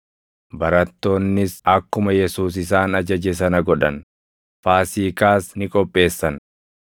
Barattoonnis akkuma Yesuus isaan ajaje sana godhan; Faasiikaas ni qopheessan.